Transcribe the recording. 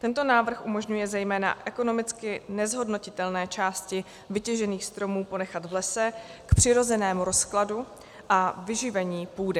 Tento návrh umožňuje zejména ekonomicky nezhodnotitelné části vytěžených stromů ponechat v lese k přirozenému rozkladu a vyživení půdy.